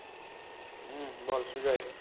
হম বল সুজয়